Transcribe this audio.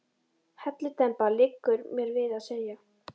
Hellidemba, liggur mér við að segja.